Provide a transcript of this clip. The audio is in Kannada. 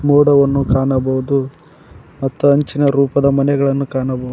ಮೋಡವನ್ನು ಕಾಣಬಹುದು ಮತ್ತು ಅಂಚಿನ ರೂಪದ ಮನೆಗಳನ್ನು ಕಾಣಬಹುದು.